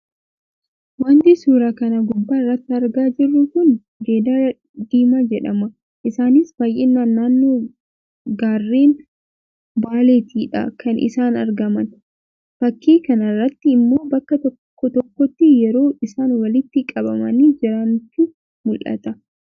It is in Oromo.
Wanti suuraa kana gubbaa irratti argaa jirru kun jedala diimaa jedhama. Isaanis baayyinaan naannoo gaarreen Baaleettidha kan isaan argaman. Fakkii kana irratti immo bakka tokkotti yeroo isaan walitti qabamanii jirantu mullata.